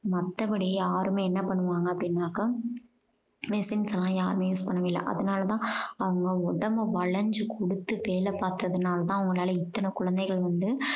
மத்தபடி யாருமே என்ன பண்ணுவாங்க அப்படின்னாக்க machines எல்லாம் யாருமே use பண்ணவே இல்ல. அதனால தான் அவங்க உடம்ப வளைஞ்சு குடுத்து வேலை பார்த்ததுனால தான் அவங்களால இத்தனை குழந்தைகள் வந்து